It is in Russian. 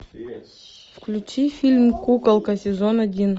включи фильм куколка сезон один